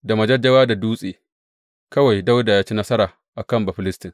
Da majajjawa da dutse kawai Dawuda ya ci nasara a kan Bafilistin.